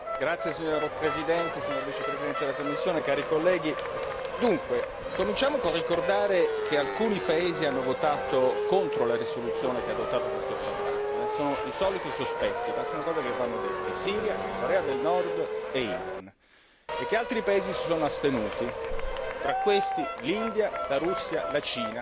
Signor Presidente, signor Vicepresidente della Commissione, onorevoli colleghi, dunque cominciamo col ricordare che alcuni paesi hanno votato contro la risoluzione che ha adottato questo trattato, sono i soliti sospetti, ma sono cose che vanno dette Siria, Corea del Nord e Iran e altri paesi si sono astenuti, tra questi l'India, la Russia, la Cina.